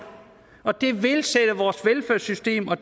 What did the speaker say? og det vil sætte vores velfærdssystem og